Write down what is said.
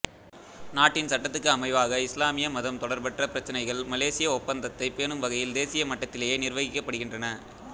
நாட்டின் சட்டத்துக்கு அமைவாக இஸ்லாமிய மதம் தொடர்பற்ற பிரச்சினைகள் மலேசிய ஒப்பந்தத்தைப் பேணும் வகையில் தேசிய மட்டத்திலேயே நிர்வகிக்கப்படுகின்றன